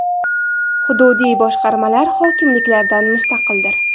Hududiy boshqarmalar hokimliklardan mustaqildir.